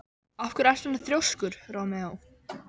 Af hverju ertu svona þrjóskur, Rómeó?